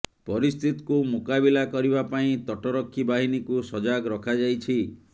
ପରିସ୍ଥିତିକୁ ମୁକାବିଲା କରିବା ପାଇଁ ତଟରକ୍ଷୀ ବାହିନୀକୁ ସଜାଗ ରଖାଯାଇଛି